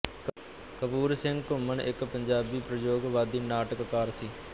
ਕਪੂਰ ਸਿੰਘ ਘੁੰਮਣ ਇੱਕ ਪੰਜਾਬੀ ਪ੍ਰਯੋਗਵਾਦੀ ਨਾਟਕਕਾਰ ਸੀ